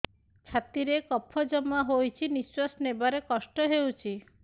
ଛାତିରେ କଫ ଜମା ହୋଇଛି ନିଶ୍ୱାସ ନେବାରେ କଷ୍ଟ ହେଉଛି